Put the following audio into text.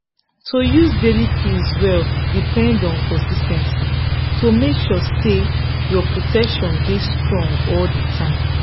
to use daily pills well depend on consis ten cy to make sure say your protection dey strong all the time